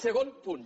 segon punt